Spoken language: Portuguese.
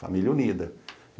Família unida.